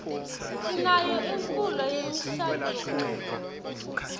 sinayo imkulo yemishaduo